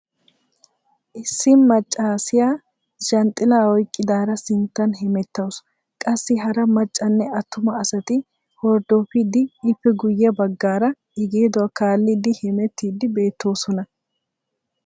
issi macaasiya zhanxxilaa oyqqidaara sinttan hemetawusu qassi hara macanne attuma asati hordofidi ippe guye bagaara i geeduwa kaalidi hemettiidi beettosona.